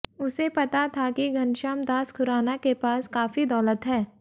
उसे पता था कि घनश्याम दास खुराना के पास काफी दौलत है